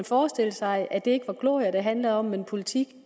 forestille sig at det ikke var glorier det handlede om men politik